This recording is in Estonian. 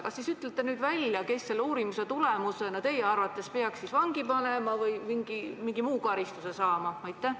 Kas te siis ütleksite nüüd välja, kes selle uurimise tulemusena teie arvates peaks vangi pandama või mingi muu karistuse saama?